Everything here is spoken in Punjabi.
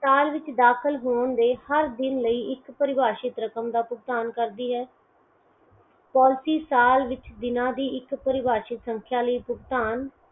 ਸਾਲ ਵਿੱਚ ਦਾਖਲ ਹੋਣ ਦੇ ਹਰ ਦਿਨ ਪਰਿਭਾਸ਼ਿਤ ਰਕਮ ਦਾ ਭੁਗਤਾਨ ਕਰਦੀ ਹੈ policy ਸਾਲ ਵਿੱਚ ਦਿਨਾਂ ਦੀ ਇੱਕ ਪ੍ਰਭਾਸ਼ਿਤ ਸੰਖਿਆ ਲਈ ਭੁਗਤਾਨ